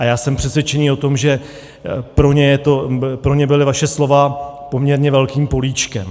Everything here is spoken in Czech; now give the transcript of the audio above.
A já jsem přesvědčený o tom, že pro ně byla vaše slova poměrně velkým políčkem.